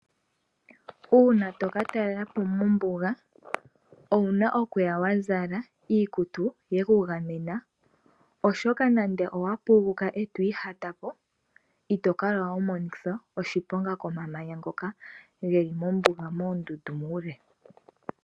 Uuna toka taalelapo mombuga owuna okuya wazala iikutu yekugamena, oshoka nande owapuguka nenge wiihatapo ito kala wa monithwa oshiponga komamanya ngoka geli mombuga moondundu muule.